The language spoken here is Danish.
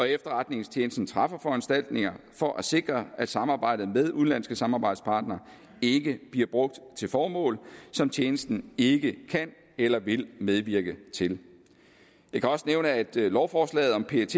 efterretningstjenesten træffer foranstaltninger for at sikre at samarbejdet med udenlandske samarbejdspartnere ikke bliver brugt til formål som tjenesten ikke kan eller vil medvirke til jeg kan også nævne at lovforslaget om pet